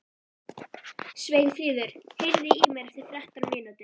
Sveinfríður, heyrðu í mér eftir þrettán mínútur.